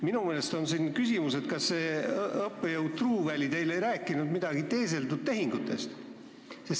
Minul tekkis küsimus, kas õppejõud Truuväli ei rääkinud teile midagi teeseldud tehingutest.